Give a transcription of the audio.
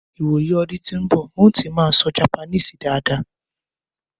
ìwò yí ọdún tó n bo̩, n ó ti maa sọ Japaníìsì daada